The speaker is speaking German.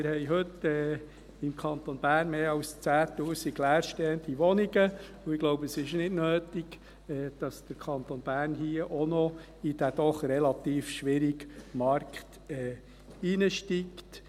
Wir haben heute im Kanton Bern mehr als 10 000 leerstehende Wohnungen, und ich glaube es ist nicht nötig, dass der Kanton Bern hier auch noch in diesen doch relativ schwierigen Markt einsteigt.